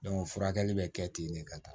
furakɛli bɛ kɛ ten de ka taa